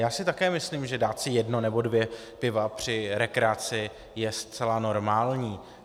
Já si také myslím, že dát si jedno nebo dvě piva při rekreaci je zcela normální.